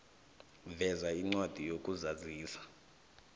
veza incwadi yokuzazisa